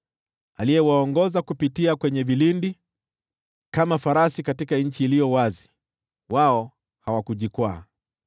aliyewaongoza kupitia kwenye vilindi? Kama farasi katika nchi iliyo wazi, wao hawakujikwaa,